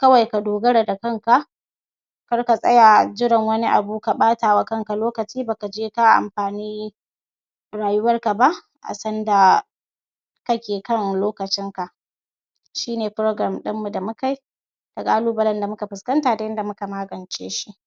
kawai ka dogara da kanka kar ka tsaya jiran wani abu ka ɓata wa kanka lokaci ba ka je ka amfani rayuwarka ba kake kan lokacinka shi ne program ɗin mu da mu kai da ƙalubalen da muka fuskanta da yadda muka magance shi